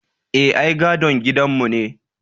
Eh, ai gadon gidanmu ne.